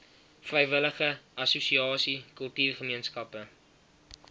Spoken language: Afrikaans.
vrywillige assosiasie kultuurgemeenskappe